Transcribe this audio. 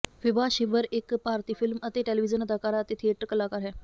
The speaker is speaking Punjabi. ਵਿਭਾ ਛਿੱਬਰ ਇੱਕ ਭਾਰਤੀ ਫ਼ਿਲਮ ਅਤੇ ਟੈਲੀਵਿਜ਼ਨ ਅਦਾਕਾਰਾ ਅਤੇ ਥੀਏਟਰ ਕਲਾਕਾਰ ਹੈ